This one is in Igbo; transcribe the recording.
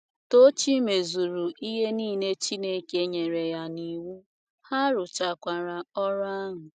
Tochi mezuru ihe nile Chineke nyere ya n’iwu, a rụchakwara ọrụ ahụ.